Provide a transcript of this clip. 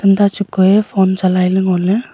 ta chako ye phone chalai la ngo le.